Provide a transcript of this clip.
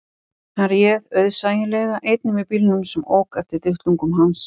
Hann réð auðsæilega einn yfir bílnum sem ók eftir duttlungum hans